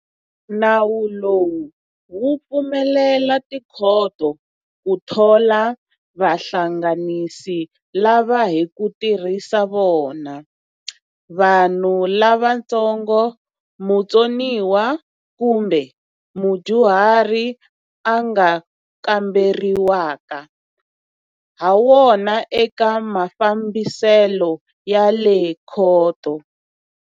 Nawu lowu wu pfumelela tikhoto ku thola vahlanganisi lava hi ku tirhisa vona, vanhu lavantsongo, mutsoniwa kumbe mudyuhari a nga kamberiwaka hawona eka mafambiselo ya le khoto.